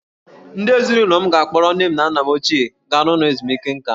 Ndị ezinụlọ m ga-akpọrọ nne na nna m ochie gaa n'ụlọ ezumike nkà.